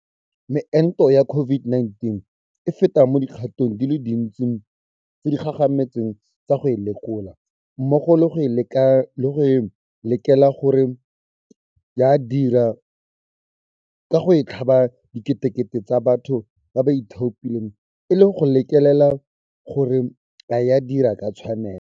Meento ya COVID-19 e feta mo dikgatong di le dintsi tse di gagametseng tsa go e lekola, mmogo le go e lekelela gore ya dira ka go e tlhaba diketekete tsa batho ba ba ithaopileng e le go lekelela gore a e dira ka tshwanelo.